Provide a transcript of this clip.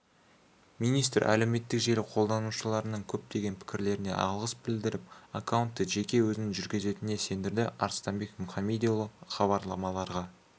министр әлеуметтік желі қолданушыларының көптеген пікірлеріне алғыс білдіріп аккаунтты жеке өзінің жүргізетініне сендірді арыстанбек мұхамедиұлы хабарламаларға